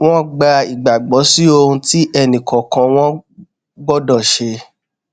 wón gba ìgbàgbó sí ohun tí ẹnì kòòkan wọn gbódò ṣe